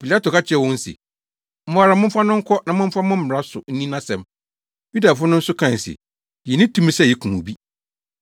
Pilato ka kyerɛɛ wɔn se, “Mo ara momfa no nkɔ na momfa mo mmara so nni nʼasɛm.” Yudafo no nso kae se, “Yenni tumi sɛ yekum obi.”